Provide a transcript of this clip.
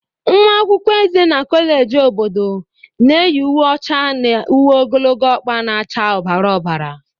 Nwa akwụkwọ eze na kọleji obodo na-eyi uwe ọcha na uwe ogologo ọkpa na-acha ọbara ọbara